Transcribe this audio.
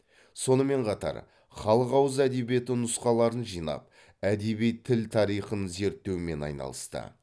сонымен қатар халық ауыз әдебиеті нұсқаларын жинап әдеби тіл тарихын зерттеумен айналысты